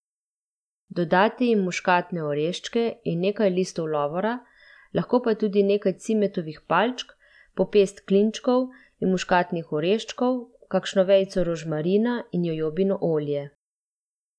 Dodate jim muškatne oreščke in nekaj listov lovora, lahko pa tudi nekaj cimetovih palčk, po pest klinčkov in muškatnih oreščkov, kakšno vejico rožmarina in jojobino olje.